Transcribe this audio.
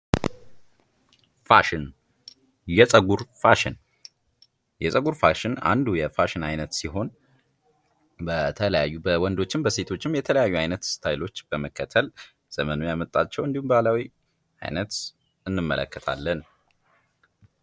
ፋሽን፤ የጸጉር ፋሽን፤ የጸጉር ፋሽን አንዱ የፋሽን አይነት ሲሆን በተለያዩ በወንዶችም በሴቶችም የተለያዩ አይነት ስታይሎች በመከተል ዘመኑ ያመጣቸውን እንዲሁም ባህላዊ አይነት እንመለከታለን።